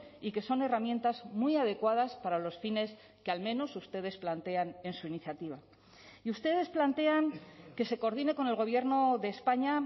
y que son herramientas muy adecuadas para los fines que al menos ustedes plantean en su iniciativa y ustedes plantean que se coordine con el gobierno de españa